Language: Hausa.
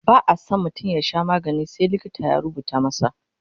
ba'a San mutum ya Sha magani sai in likita ya rubuta masa